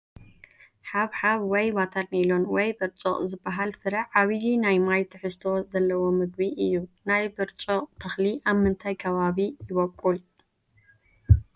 ሓብሓብ ወይ ዋተር ሜሎን ወይ ብርጭቕ ዝበሃል ፍረ ዓብዪ ናይ ማይ ትሕዝቶ ዘለዎ ምግቢ እዩ፡፡ ናይ ብርጭቕ ተኽሊ ኣብ ምንታይ ከባቢ ይበቑል?